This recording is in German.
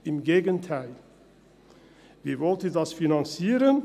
Im Gegenteil: Wie wollen Sie dies finanzieren?